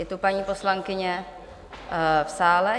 Je tu paní poslankyně v sále?